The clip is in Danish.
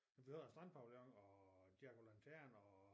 Vi havde en strandpavillion diego lanterner og